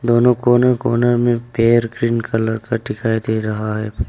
दोनों कोने कोने में पेड़ ग्रीन कलर का दिखाई दे रहा है।